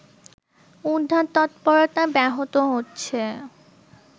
উদ্ধার তৎপরতা ব্যাহত হচ্ছে